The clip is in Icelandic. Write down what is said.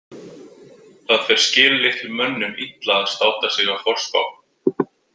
Það fer skillitlum mönnum illa að státa sig af forspá.